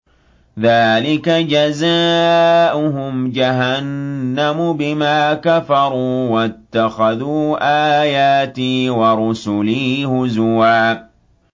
ذَٰلِكَ جَزَاؤُهُمْ جَهَنَّمُ بِمَا كَفَرُوا وَاتَّخَذُوا آيَاتِي وَرُسُلِي هُزُوًا